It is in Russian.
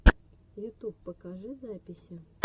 ютюб покажи записи